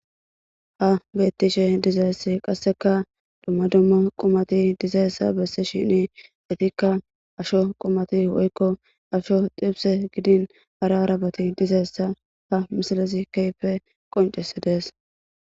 ha bettishe dizayss qasseka dumma dumma qumati dizayssa besishini etikka asho qumati woykko asho xibse gidin hara arabati dizayssa ha misilezi kehippe qonccisodees.